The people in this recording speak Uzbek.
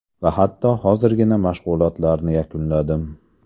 Va hatto hozirgina mashg‘ulotlarni yakunladim.